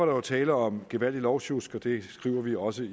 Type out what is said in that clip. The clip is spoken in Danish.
jo tale om et gevaldigt lovsjusk og det skriver vi også